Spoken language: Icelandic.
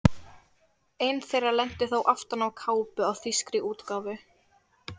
Ein þeirra lenti þó aftan á kápu á þýskri útgáfu.